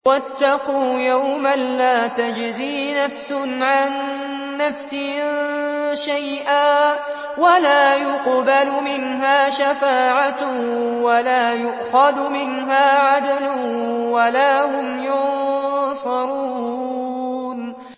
وَاتَّقُوا يَوْمًا لَّا تَجْزِي نَفْسٌ عَن نَّفْسٍ شَيْئًا وَلَا يُقْبَلُ مِنْهَا شَفَاعَةٌ وَلَا يُؤْخَذُ مِنْهَا عَدْلٌ وَلَا هُمْ يُنصَرُونَ